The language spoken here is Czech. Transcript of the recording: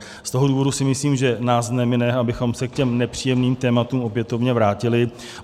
Z toho důvodu si myslím, že nás nemine, abychom se k těm nepříjemným tématům opětovně vrátili.